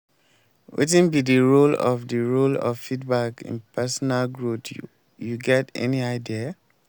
wetin be di role of di role of feedback in personal growth you get any idea?